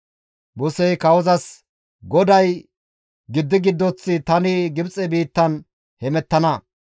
Musey kawozas, «GODAY, ‹Giddi giddoth tani Gibxe biittan hemettana;